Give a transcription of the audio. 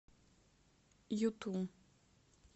юту